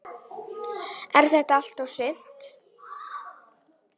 Er þetta allt og sumt?